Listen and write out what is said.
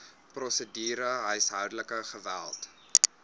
prosedure huishoudelike geweld